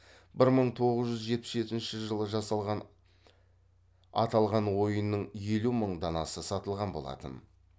бір мың тоғыз жүз жетпіс жетінші жылы жасалған аталған ойынның елу мың данасы сатылған болатын